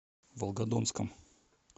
волгодонском